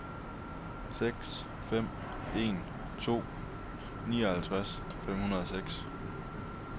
seks fem en to nioghalvtreds fem hundrede og seks